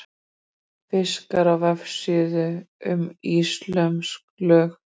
fiskar á vefsíðu um íslömsk lög